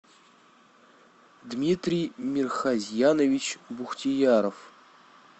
дмитрий мирхазьянович бухтияров